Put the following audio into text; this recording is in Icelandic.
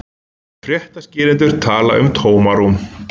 Fréttaskýrendur tala um tómarúm